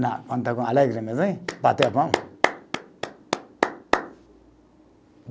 Quando está com, bateu a palma. (bate palmas)